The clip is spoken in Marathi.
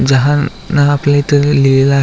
जहान आपल्या इथ लिहिलेल आहे.